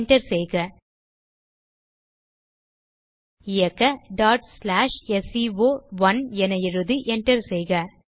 enter செய்க இயக்க sco1 என எழுதி enter செய்க